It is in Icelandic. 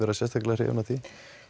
sérstaklega hrifin af því